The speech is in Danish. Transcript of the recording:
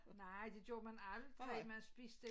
Nej det gjorde man aldrig man spiste